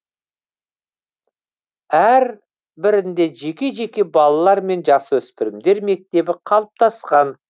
әр бірінде жеке жеке балалар мен жасөспірімдер мектебі қалыптасқан